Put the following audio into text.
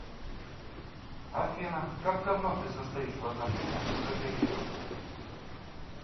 афина как давно ты состоишь в отношениях с этой девушкой